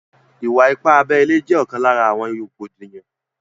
Ìwà ipá abẹ ile jẹ́ ókan lára àwọn rògbòdìyàn